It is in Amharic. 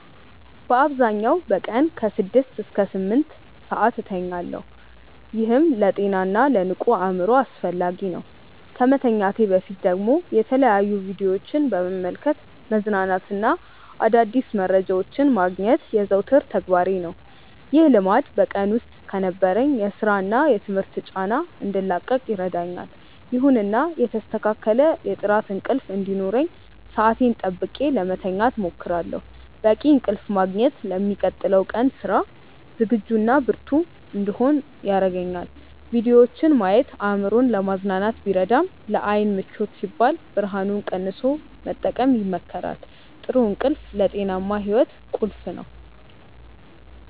በአብዛኛው በቀን ከ6 እስከ 8 ሰዓት እተኛለሁ፤ ይህም ለጤናና ለንቁ አእምሮ አስፈላጊ ነው። ከመተኛቴ በፊት ደግሞ የተለያዩ ቪዲዮዎችን በመመልከት መዝናናትና አዳዲስ መረጃዎችን ማግኘት የዘወትር ተግባሬ ነው። ይህ ልማድ በቀን ውስጥ ከነበረኝ የሥራና የትምህርት ጫና እንድላቀቅ ይረዳኛል። ይሁንና የተስተካከለ የጥራት እንቅልፍ እንዲኖረኝ ሰዓቴን ጠብቄ ለመተኛት እሞክራለሁ። በቂ እንቅልፍ ማግኘት ለሚቀጥለው ቀን ስራ ዝግጁና ብርቱ እንድሆን ያደርገኛል። ቪዲዮዎችን ማየት አእምሮን ለማዝናናት ቢረዳም፣ ለዓይን ምቾት ሲባል ብርሃኑን ቀንሶ መጠቀም ይመከራል። ጥሩ እንቅልፍ ለጤናማ ሕይወት ቁልፍ ነው።